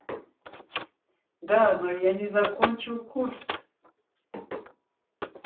да но я не закончил курс